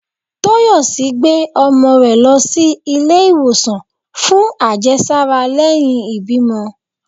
Toyòsí gbé omò re lo sí ìlé iwosan fún àjésárá leyin ìbímo